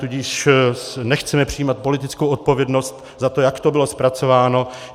Tudíž nechceme přijímat politickou odpovědnost za to, jak to bylo zpracováno.